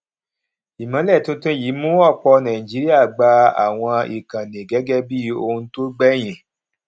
ìmọlẹ tuntun yìí mú ọpọ nàìjíríà gba àwọn ìkànnì gẹgẹ bí ohun tó gbẹyìn